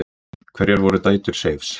Hverjar voru dætur Seifs?